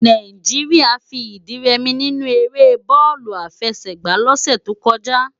Nàijiriá fi idi rè mi ninú éré bòlú àfèsègbá lòsè tókòjá